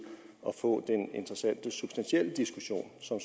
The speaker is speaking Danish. at få den interessante substantielle diskussion som